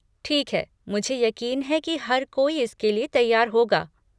ठीक है, मुझे यकीन है कि हर कोई इसके लिए तैयार होगा।